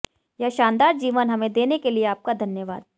यह शानदार जीवन हमें देने के लिए आपका धन्यवाद